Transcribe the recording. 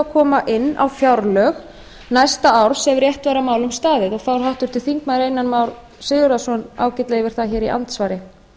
koma inn á fjárlög næsta árs ef rétt væri að málum staðið og fór háttvirtur þingmaður einar már sigurðarson ágætlega yfir það hér í andsvari